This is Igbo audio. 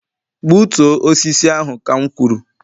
gbutuo osisi ahụ ka m kwuru